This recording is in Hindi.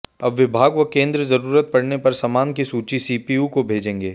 अब विभाग व केंद्र जरूरत पड़ने पर सामान की सूची सीपीयू को भेजेंगे